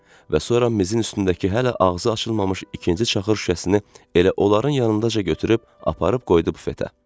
Və sonra mizin üstündəki hələ ağzı açılmamış ikinci çaxır şüşəsini elə onların yanındaca götürüb aparıb qoydu bufetə.